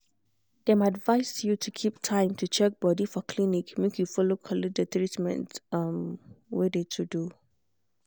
dem advised you to keep time to check body for clinic make you follow collect de treatment um wey de to do.